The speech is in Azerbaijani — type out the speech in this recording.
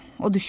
O düşündü.